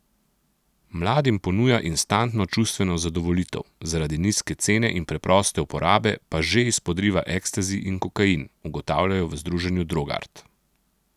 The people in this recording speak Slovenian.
Mladim ponuja instantno čustveno zadovoljitev, zaradi nizke cene in preproste uporabe pa že izpodriva ekstazi in kokain, ugotavljajo v združenju Drogart.